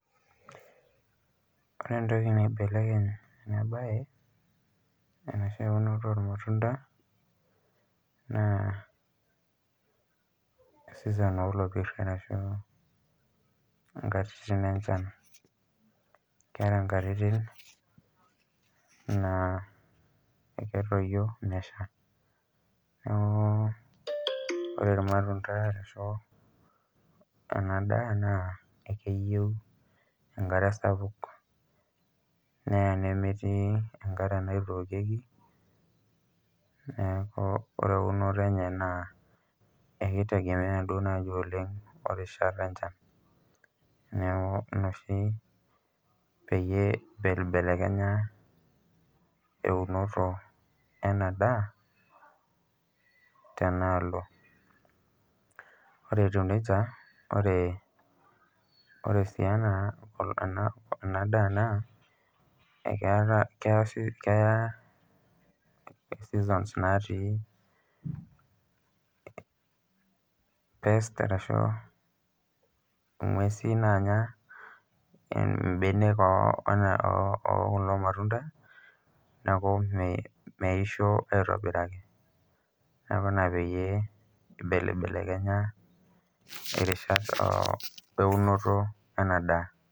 Ore entoki nibelekeny ena mbae enoshi unoto ormatunda naa season olopir arashu nkatititin enchan keetae natitin naa ekitoyio meshaa neeku ore irmatunda arashu ena daa ekeyieu enkare sapuk neyau nemetii enkare naitokieki neeku ore euni enye ekitegemea duo naaji oleng erishata enchan neeku ena oshi peyie eibelibelekenya wuno ena daa tena alo ore etiu nejia ore sii ena daa ekitaa keya seasons natii ng'uesi Anya mbenek oo kulo matunda]cs]neeku mwisho aitobiraki neeku ena pibelibelekenya erishat eunoto ena daa